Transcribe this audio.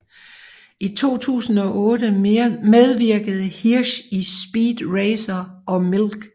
I 2008 medvirkede Hirsch i Speed Racer og Milk